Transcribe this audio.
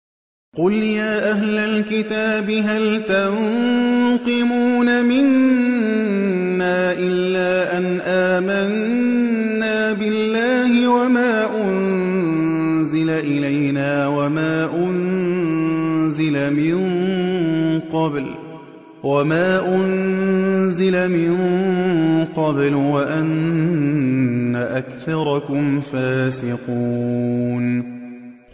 قُلْ يَا أَهْلَ الْكِتَابِ هَلْ تَنقِمُونَ مِنَّا إِلَّا أَنْ آمَنَّا بِاللَّهِ وَمَا أُنزِلَ إِلَيْنَا وَمَا أُنزِلَ مِن قَبْلُ وَأَنَّ أَكْثَرَكُمْ فَاسِقُونَ